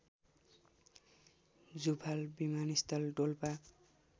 जुफाल विमानस्थल डोल्पा